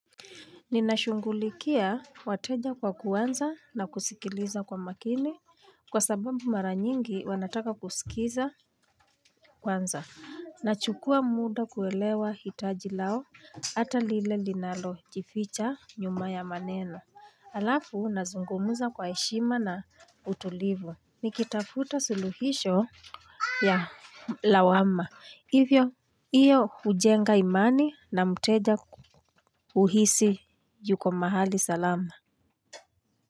Nina shughulikia wateja kwa kuanza na kusikiliza kwa makini kwa sababu mara nyingi wana taka kusikiza kwanza. Nachukua muda kuelewa hitaji lao hata lile linalo jificha nyuma ya maneno. Halafu nazungumuza kwa heshima na utulivu. Nikitafuta suluhisho ya lawama. Hivyo, hiyo hujenga imani na mteja uhisi yuko mahali salama.